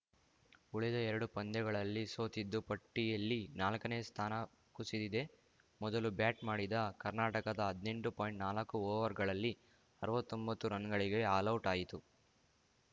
ಉಳಿದ ಎರಡು ಪಂದ್ಯಗಳಲ್ಲಿ ಸೋತಿದ್ದು ಪಟ್ಟಿಯಲ್ಲಿ ನಾಲ್ಕನೇ ಸ್ಥಾನ ಕುಸಿದಿದೆ ಮೊದಲು ಬ್ಯಾಟ್‌ ಮಾಡಿದ ಕರ್ನಾಟಕ ಹದ್ನೆಂಟು ಪಾಯಿಂಟ್ನಾಲ್ಕು ಓವರ್‌ಗಳಲ್ಲಿ ಅರ್ವತ್ತೊಂಬತ್ತು ರನ್‌ಗಳಿಗೆ ಆಲೌಟ್‌ ಆಯಿತು